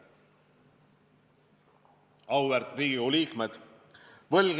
Auväärt Riigikogu liikmed!